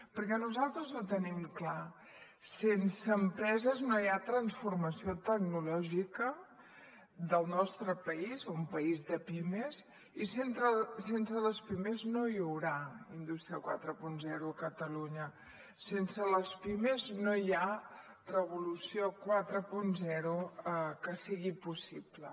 perquè nosaltres ho tenim clar sense empreses no hi ha transformació tecnològica del nostre país un país de pimes i sense les pimes no hi haurà indústria quaranta a catalunya sense les pimes no hi ha revolució quaranta que sigui possible